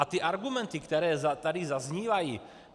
A ty argumenty, které tady zaznívají.